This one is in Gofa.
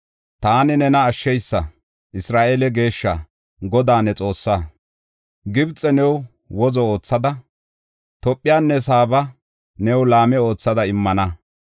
Taani nena Ashshiysa, Isra7eele Geeshshaa, Godaa ne Xoossaa. Gibxe new wozo oothada, Tophenne Saaba new laame oothada immana.